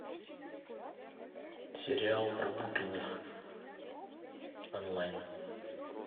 сериал про букиных онлайн